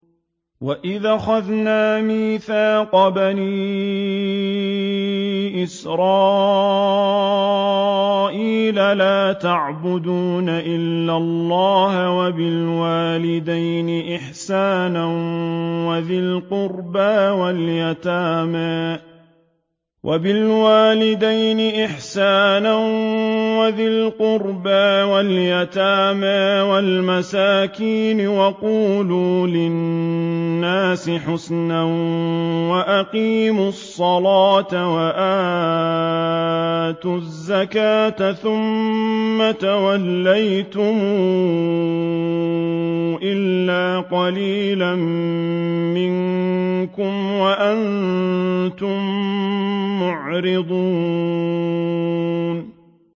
وَإِذْ أَخَذْنَا مِيثَاقَ بَنِي إِسْرَائِيلَ لَا تَعْبُدُونَ إِلَّا اللَّهَ وَبِالْوَالِدَيْنِ إِحْسَانًا وَذِي الْقُرْبَىٰ وَالْيَتَامَىٰ وَالْمَسَاكِينِ وَقُولُوا لِلنَّاسِ حُسْنًا وَأَقِيمُوا الصَّلَاةَ وَآتُوا الزَّكَاةَ ثُمَّ تَوَلَّيْتُمْ إِلَّا قَلِيلًا مِّنكُمْ وَأَنتُم مُّعْرِضُونَ